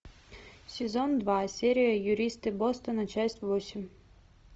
сезон два серия юристы бостона часть восемь